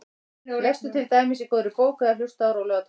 Lestu til dæmis í góðri bók eða hlustaðu á rólega tónlist.